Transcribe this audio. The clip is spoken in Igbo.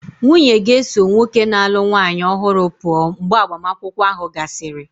Nwunye ga-eso nwoke na-alụ nwanyị ọhụrụ pụọ mgbe agbamakwụkwọ ahụ gasịrị.